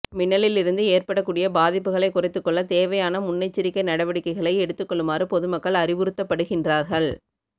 மின்னலிலிருந்து ஏற்படக்கூடிய பாதிப்புகளை குறைத்துக்கொள்ள தேவையான முன்னெச்சரிக்கை நடவடிக்கைகளை எடுத்துக் கொள்ளுமாறு பொதுமக்கள் அறிவுறுத்தப்படுகின்றார்கள்